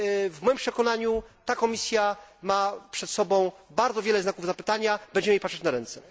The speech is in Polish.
W moim przekonaniu ta Komisja ma przed sobą bardzo wiele znaków zapytania, będziemy jej patrzeć na ręce.